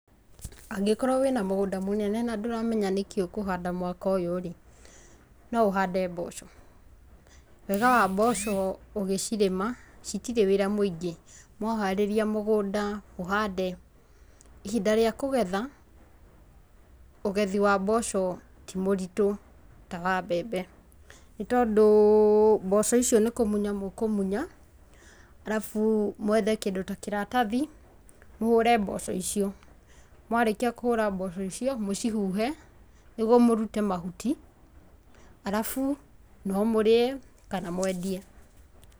Angĩkorwo wĩna mũgũnda mũnene na ndũramenya ũkũhanda kĩ mwaka ũyũ no ahande mboco, wega wa mboco ũgĩcirĩma itirĩ wĩra mũingĩ, mwaharĩria mũgũnda mũhande, ihinda rĩa kũgetha ũgethi wa mboco to mũritũ ta wa mbembe nĩ tondũ mboco icio nĩ kũmunya mũkũmunya arabu mwethe kĩndũ ta kĩratathi mũhũre mboco icio mwarĩkia kũhũra mboco icio mũcihuhe nĩguo mũhuhe mahuti, arabu no mũrĩe kana mwendie